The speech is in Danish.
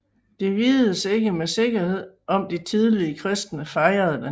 Det vides ikke med sikkerhed om de tidlige kristne fejrede den